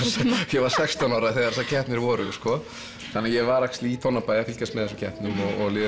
ég var sextán ára þegar þessar keppnir voru þannig ég var í Tónabæ að fylgjast með þessum keppnum